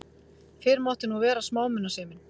Fyrr mátti nú vera smámunasemin!